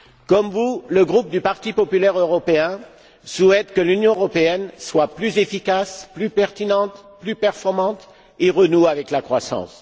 Comme vous, le groupe du parti populaire européen souhaite que l'Union européenne soit plus efficace, plus pertinente, plus performante et renoue avec la croissance.